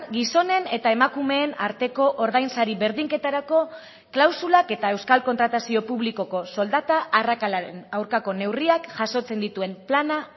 gizonen eta emakumeen arteko ordainsari berdinketarako klausulak eta euskal kontratazio publikoko soldata arrakalaren aurkako neurriak jasotzen dituen plana